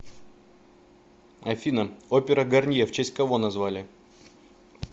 афина опера гарнье в честь кого назвали